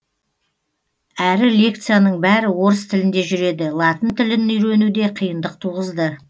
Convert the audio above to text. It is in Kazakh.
әрі лекцияның бәрі орыс тілінде жүреді латын тілін үйрену де қиындық туғызды